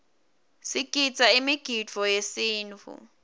sigidza imigidvo yesintfu